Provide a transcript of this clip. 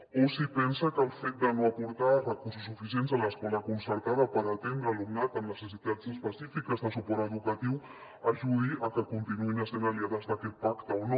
o si pensa que el fet de no aportar recursos suficients a l’escola concertada per atendre alumnat amb necessitats específiques de suport educatiu ajuda a que continuïn essent aliades d’aquest pacte o no